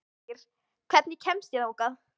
Ýrr, hvernig kemst ég þangað?